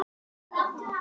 Óttist þó ekki.